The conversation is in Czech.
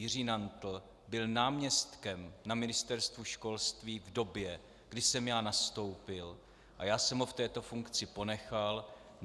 Jiří Nantl byl náměstkem na Ministerstvu školství v době, kdy jsem já nastoupil, a já jsem ho v této funkci ponechal.